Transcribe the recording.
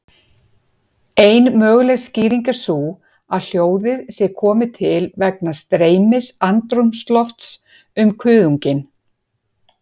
Ein möguleg skýring er sú að hljóðið sé komið til vegna streymis andrúmslofts um kuðunginn.